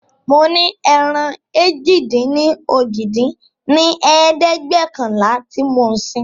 mo ní ẹran èjì-dín-ní-ojì dín ní ẹ̀ẹ́dẹ́gbẹ́ọ̀kànlá tí mo ń sìn.